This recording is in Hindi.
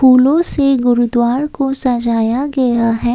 फूलों से गुरुद्वार को सजाया गया है।